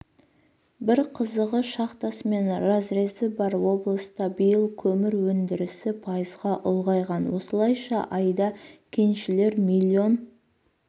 бір қызығы шахтасы мен разрезі бар облыста биыл көмір өндірісі пайызға ұлғайған осылайша айда кеншілер миллион